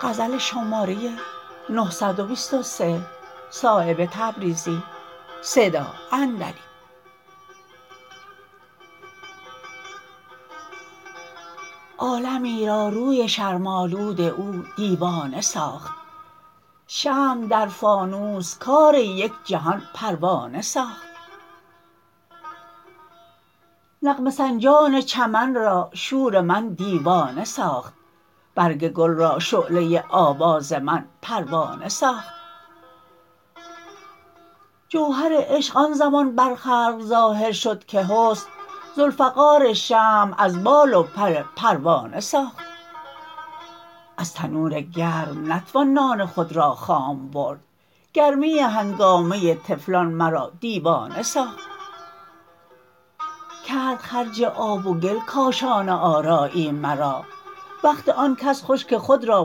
عالمی را روی شرم آلود او دیوانه ساخت شمع در فانوس کار یک جهان پروانه ساخت نغمه سنجان چمن را شور من دیوانه ساخت برگ گل را شعله آواز من پروانه ساخت جوهر عشق آن زمان بر خلق ظاهر شد که حسن ذوالفقار شمع از بال و پر پروانه ساخت از تنور گرم نتوان نان خود را خام برد گرمی هنگامه طفلان مرا دیوانه ساخت کرد خرج آب و گل کاشانه آرایی مرا وقت آن کس خوش که خود را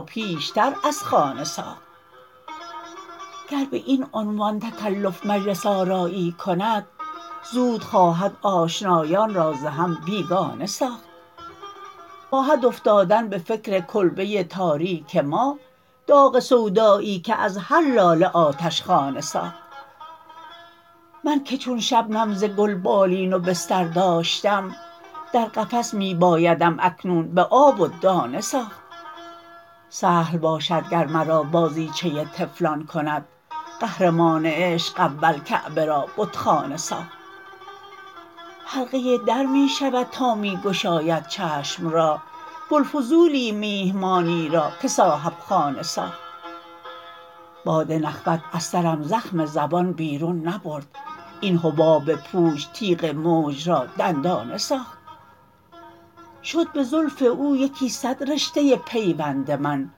پیشتر از خانه ساخت گر به این عنوان تکلف مجلس آرایی کند زود خواهد آشنایان را ز هم بیگانه ساخت خواهد افتادن به فکر کلبه تاریک ما داغ سودایی که از هر لاله آتشخانه ساخت من که چون شبنم ز گل بالین و بستر داشتم در قفس می بایدم اکنون به آب و دانه ساخت سهل باشد گر مرا بازیچه طفلان کند قهرمان عشق اول کعبه را بتخانه ساخت حلقه در می شود تا می گشاید چشم را بوالفضولی میهمانی را که صاحبخانه ساخت باد نخوت از سرم زخم زبان بیرون نبرد این حباب پوچ تیغ موج را دندانه ساخت شد به زلف او یکی صد رشته پیوند من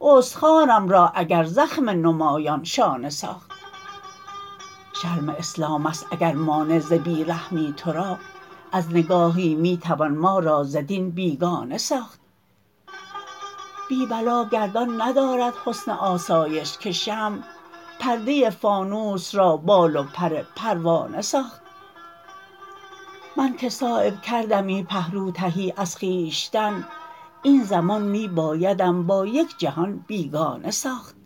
استخوانم را اگر زخم نمایان شانه ساخت شرم اسلام است اگر مانع ز بی رحمی ترا از نگاهی می توان ما را ز دین بیگانه ساخت بی بلا گردان ندارد حسن آسایش که شمع پرده فانوس را بال و پر پروانه ساخت من که صایب کردمی پهلو تهی از خویشتن این زمان می بایدم با یک جهان بیگانه ساخت